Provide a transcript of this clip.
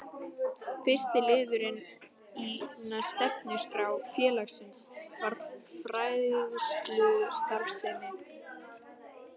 Fyrsti liðurinn í stefnuskrá félagsins varðar fræðslustarfsemi.